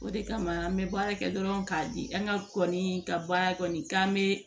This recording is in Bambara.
O de kama an bɛ baara kɛ dɔrɔn k'a di an ka kɔni ka baara kɔni k'an bɛ